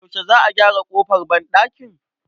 Yaushe Za a gyara ƙofar banɗakin?